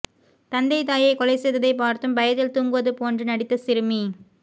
தந்தை தாயை கொலை செய்ததை பார்த்தும் பயத்தில் தூங்குவது போன்று நடித்த சிறுமி